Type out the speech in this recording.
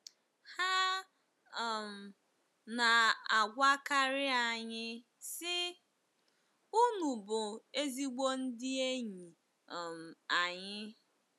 Ha um na-agwakarị anyị, sị, “Unu bụ ezigbo ndị enyi um anyị”